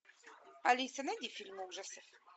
алиса найди фильмы ужасов